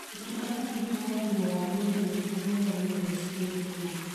ũtungata witũ wa ũgima wa mwĩrĩ nĩguo mwega mũno gĩcigo-inĩ gĩkĩ